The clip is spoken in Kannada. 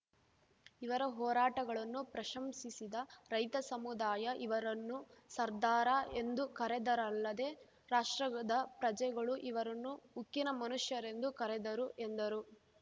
ಇವರ ಹೋರಾಟಗಳನ್ನು ಪ್ರಶಂಸಿಸಿದ ರೈತ ಸಮುದಾಯ ಇವರನ್ನು ಸರ್ದಾರ ಎಂದು ಕರೆದರಲ್ಲದೆ ರಾಷ್ಟ್ರದ ಪ್ರಜೆಗಳು ಇವರನ್ನು ಉಕ್ಕಿನ ಮನುಷ್ಯರೆಂದು ಕರೆದರು ಎಂದರು